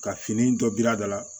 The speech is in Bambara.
Ka fini dɔ biri a da la